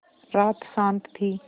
रात शान्त थी